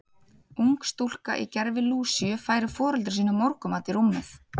Ung stúlka í gervi Lúsíu færir foreldrum sínum morgunmat í rúmið.